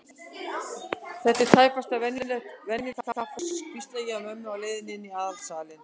Þetta er tæpast venjulegt kaffihús, hvísla ég að mömmu á leiðinni inn í aðalsalinn.